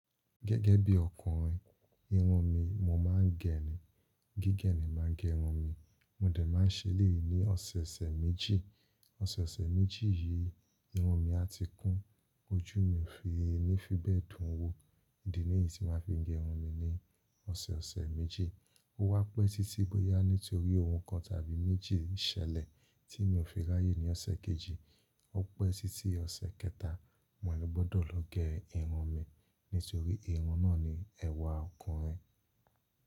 Gẹ́gẹ́ bí ọkùnrin, irun mi mo máa ń gé ni, gígẹ̀ ni máa ń gé irun mi. Mo dẹ̀ máa ń ṣe elèyi ní ọ̀sẹ̀ẹ̀sẹ̀ méjì. Ọ̀sẹ̀ẹ̀sẹ̀ méjì yìí, irun mi a ti kún, ojú mi ò fi ní fí bẹ́ẹ̀ dùn wó, idi nìyí tí màá fi gé irun mi ní ọ̀sẹ̀ẹ̀sẹ̀ méjì. Ó wá pẹ́ títí bóyá nítorí ohun kan tàbí méjì ṣẹlẹ̀ tí mi ò fi ráyé ní ọ̀sẹ̀ kejì. Ó pẹ́ títí ọ̀sẹ̀ kẹta, mo ní gbọ́dọ̀ lọ gé irun mi nítorí irun náà ni ẹwà ọkùnrin.